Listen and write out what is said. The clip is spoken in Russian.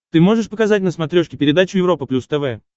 ты можешь показать на смотрешке передачу европа плюс тв